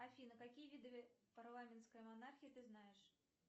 афина какие виды парламентской монархии ты знаешь